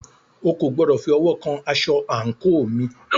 O kò gbọdọ̀ fi ọwọ́ kan asọ àńkò mi!